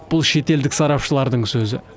бұл шетелдік сарапшылардың сөзі